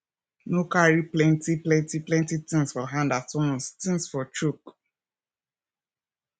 no carry plenty plenty plenty things for hand at once things for choke